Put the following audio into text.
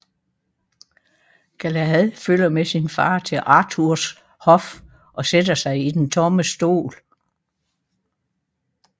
Galahad følger med sin far til Arthurs hof og sætter sig i den tomme stol